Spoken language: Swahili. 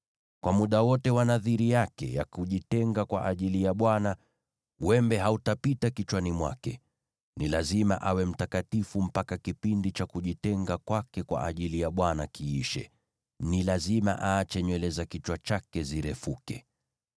“ ‘Kwa muda wote wa nadhiri yake ya kujitenga kwa ajili ya Bwana , wembe hautapita kichwani mwake. Ni lazima awe mtakatifu mpaka kipindi cha kujitenga kwake kwa ajili ya Bwana kiishe; ni lazima aache nywele za kichwa chake zirefuke.